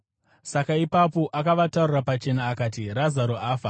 Saka ipapo akavataurira pachena akati, “Razaro afa,